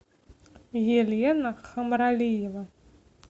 елена хамралиева